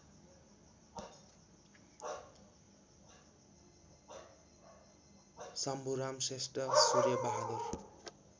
Shambhuram Shrestha Surya Bahadur